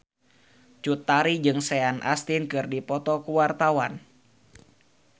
Cut Tari jeung Sean Astin keur dipoto ku wartawan